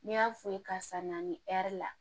N'i y'a f'u ye karisa na nin ɛri la